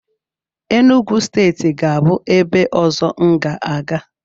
Enugwu steeti ga-abụ ebe ọzọ m ga-aga.